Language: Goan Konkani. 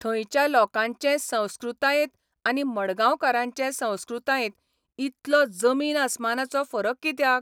थंयच्या लोकांचे संस्कृतायेंत आनी मडगांवकारांचे संस्कृतायेंत इतलो जमीन अस्मानाचो फरक कित्याक?